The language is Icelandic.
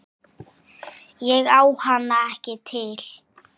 Ég á hana ekki til.